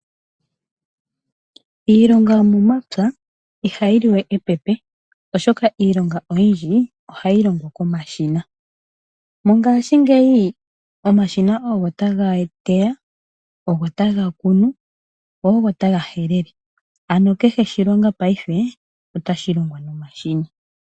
Iilonga yomomapya ihayi li we epepe oshoka iilonga oyindji ohayi longwa komashina. Mongashingeyi omashina ogo ta ga kunu, ogo taga helele go ogo ta ga teya, ano kehe oshilobga paife otashi longwa nomashina.